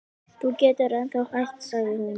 Þú getur ennþá hætt sagði hún.